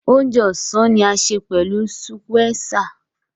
Óje ọ́sàn ni a ṣe pẹlu sùkwéesà.